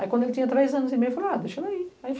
Aí, quando ele tinha três anos e meio, falou, ah, deixa ele aí. Aí